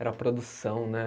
Era a produção, né?